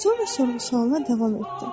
Sonra soruşacağına davam etdi.